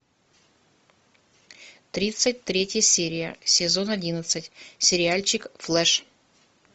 тридцать третья серия сезон одиннадцать сериальчик флэш